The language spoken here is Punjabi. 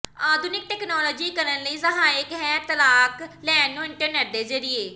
ਆਧੁਨਿਕ ਤਕਨਾਲੋਜੀ ਕਰਨ ਲਈ ਸਹਾਇਕ ਹੈ ਤਲਾਕ ਲੈਣ ਨੂੰ ਇੰਟਰਨੈੱਟ ਦੇ ਜ਼ਰੀਏ